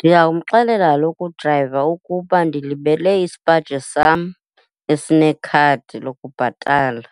Ndingamxelela kaloku udrayiva ukuba ndilibele isipaji sam esinekhadi lokubhatala,